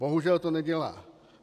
Bohužel to nedělá.